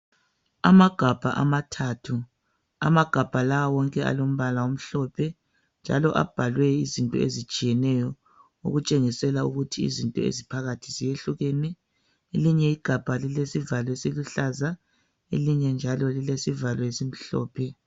Amagabha amathathu, amagabha lawa wonke alombala omhlophe njalo abhalwe izinto ezitshiyeneyo okutshengisela ukuthi izinto eziphakathi ziyehlukene. Elinye igabha lilesivalo esiluhlaza, elinye njalo lilesivalo esimhlophe.